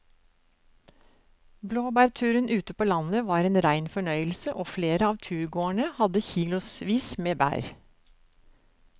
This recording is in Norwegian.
Blåbærturen ute på landet var en rein fornøyelse og flere av turgåerene hadde kilosvis med bær.